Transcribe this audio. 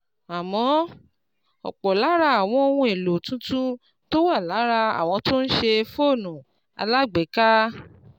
Àmọ́, ọ̀pọ̀ lára àwọn ohun èlò tuntun tó wà lára àwọn tó ń ṣe fóònù alágbèéká